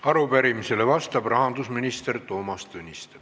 Arupärimisele vastab rahandusminister Toomas Tõniste.